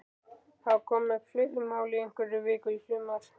Hafa komið upp fleiri mál í einhverri viku í sumar?